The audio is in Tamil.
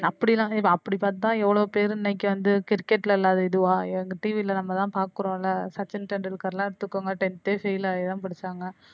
அப்படிலா இல்ல இப்ப அப்படி பாத்தா எவ்ளோ பேரு இன்னைக்கு வந்த கிரிக்கெட்ல இல்லாத இதுவா எங்க TV ல நம்ம தான் பாக்குரோம்ல சச்சின்டெண்டுல்கர்லாம் எடுத்துக்கோங்க tenth தே fail ஆகிதான் படிச்சாங்க.